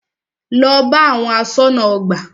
Lọ bá àwọn aṣọ́nà ọgbà!